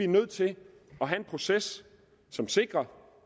nødt til at have en proces som sikrer